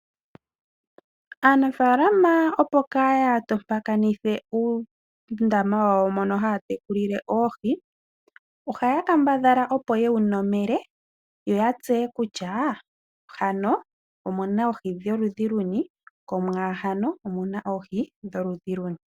Aanafaalama opo kaaya tompakanithe uundama wawo mono taya tekulile oohi, ohaya kambadhala opo ye wu nomele yo ya tseye kutya muno omu na oohi dholudhi luni mo muno omu na oohi dholudhi luni.